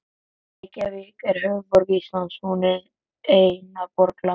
Reykjavík er höfuðborg Íslands. Hún er eina borg landsins.